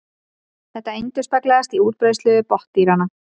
Þetta endurspeglast í útbreiðslu botndýranna.